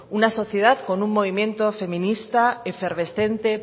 una sociedad con un movimiento feminista efervescente